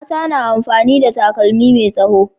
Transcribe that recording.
Mata na amfani da takalmi me tsaho